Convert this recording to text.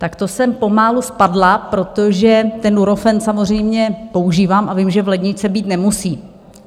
Tak to jsem pomalu spadla, protože ten Nurofen samozřejmě používám a vím, že v ledničce být nemusí.